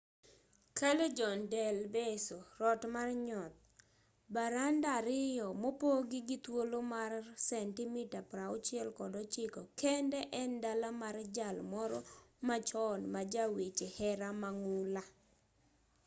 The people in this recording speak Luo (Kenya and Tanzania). callejon del beso rot mar nyoth. baranda ariyo mopogi gi thuolo mar sentimita 69 kende en dala mar jal moro machon ma ja weche hera mang'ula